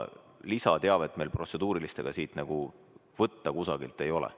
Lisateavet meil protseduuriliste küsimuste kohta kusagilt võtta ei ole.